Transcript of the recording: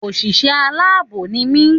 Òsìsé aláàbò ní mi